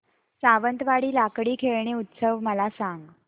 सावंतवाडी लाकडी खेळणी उत्सव मला सांग